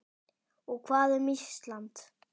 Og hvað um Ísland?